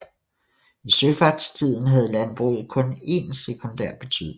I søfartstiden havde landbruget kun en sekundær betydning